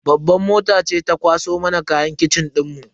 Babban mota ce ta kwaso mana kayan kitchen dinmu.